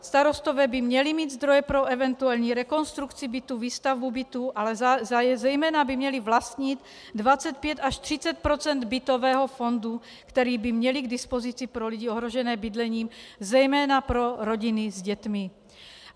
Starostové by měli mít zdroje pro eventuální rekonstrukci bytů, výstavbu bytů, ale zejména by měli vlastnit 25 až 30 % bytového fondu, který by měli k dispozici pro lidi ohrožené bydlením, zejména pro rodiny s dětmi.